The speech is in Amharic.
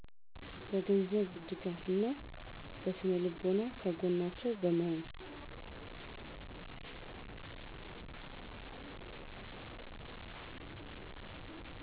በ ገንዘብ ድጋፍ እና በ ስነልቦና ከገጎናቸው በመሆን